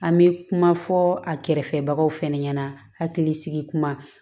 An bɛ kuma fɔ a kɛrɛfɛbagaw fana ɲɛna hakili sigikuman